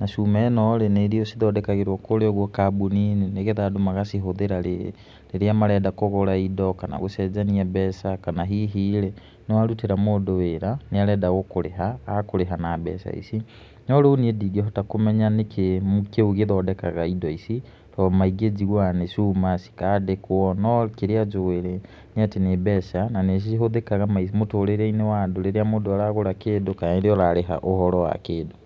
na cuma ĩno rĩ niĩ ndiũĩ cithondekagĩrwo kũríĩ ũguo kambuni-inĩ nĩ getha andũ magacihũthĩra rĩrĩa marenda kũgũra indo kana gũcenjania mbeca, kana hihi rĩ nĩ warutĩra mũndũ wĩra, nĩ arenda gũkũrĩha, agakũrĩha na mbeca ici, no rĩu niĩ ndingĩhota kũmenya nĩkĩĩ kĩu gĩthondekaga indo ici, tondũ maingĩ njiguaga nĩ cuma cikandĩkwo no kĩrĩa njũĩ rĩ nĩ atĩ nĩ mbeca na nĩ cihũthĩkaga mũtũrĩre-inĩ wa andũ rĩrĩa mũndũ aragũra kĩndũ kana rĩrĩa ũrarĩha ũhoro wa kĩndũ.